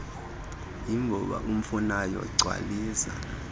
vimba umfunayo gcwalisa